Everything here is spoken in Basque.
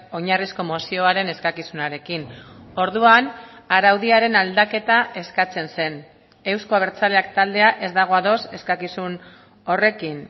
oinarrizko mozioaren eskakizunarekin orduan araudiaren aldaketa eskatzen zen euzko abertzaleak taldea ez dago ados eskakizun horrekin